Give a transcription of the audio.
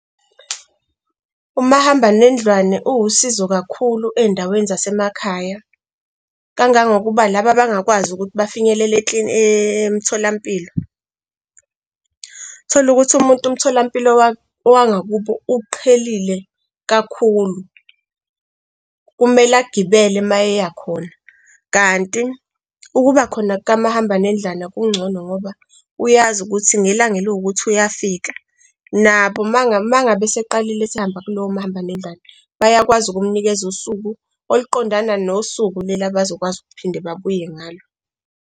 Umahamba nendlwane uwusizo kakhulu ey'ndaweni zasemakhaya kangangokuba laba abangakwazi ukuthi bafinyelele emtholampilo. Uthola ukuthi umuntu umtholampilo wangakubo uqhelile kakhulu, kumele agibele uma eyakhona. Kanti ukuba khona kamahamba nendlwane kungcono ngoba uyazi ukuthi ngelanga eliwukuthi uyafika. Nabo uma ngabe eseqalile esehamba kulowo mahamba nendlwane, bayakwazi ukumnikeza usuku oluqondana nosuku leli abazokwazi ukuphinda babuye ngalo.